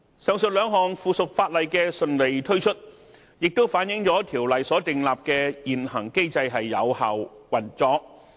上述兩項附屬法例的順利推出，也反映出《條例》所訂立的現行機制有效運作。